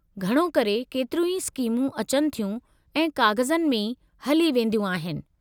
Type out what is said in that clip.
घणो करे, केतिरियूं ई स्कीमूं अचनि थियूं ऐं काग़ज़नि में ई हली वेदियूं आहिनि।